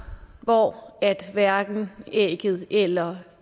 hvor hverken ægget eller